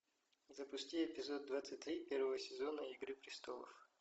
запусти эпизод двадцать три первого сезона игры престолов